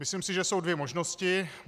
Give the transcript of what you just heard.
Myslím si, že jsou dvě možnosti.